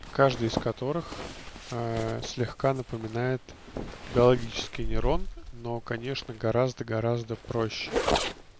каждый из которых слегка напоминает биологический нейрон но конечно гораздо гораздо проще